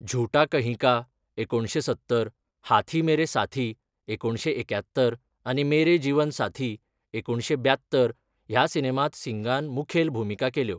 झूटा कहीं का, एकुणशें सत्तर, हाथी मेरे साथी, एकुणशे एक्यात्तर आनी मेरे जीवन साथी, एकुणशें ब्यात्तर ह्या सिनेमांत सिंगान मुखेल भुमिका केल्यो.